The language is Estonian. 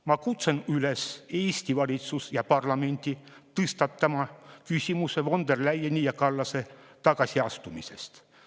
Ma kutsun Eesti valitsust ja parlamenti üles tõstatama küsimuse von der Leyeni ja Kallase tagasiastumisest.